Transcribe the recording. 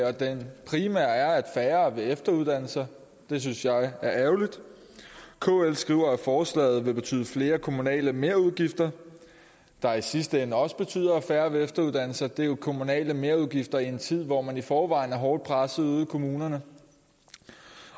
og den primære konsekvens er at færre vil efteruddanne sig det synes jeg er ærgerligt kl skriver at forslaget vil betyde flere kommunale merudgifter der i sidste ende også betyder at færre vil efteruddanne sig det er jo kommunale merudgifter i en tid hvor man i forvejen er hårdt presset ude i kommunerne